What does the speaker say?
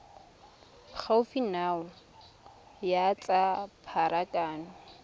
gaufi nao ya tsa pharakano